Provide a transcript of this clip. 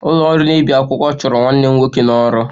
Ụlọ ọrụ na-ebi akwụkwọ chụrụ nwanne m nwoke n'ọrụ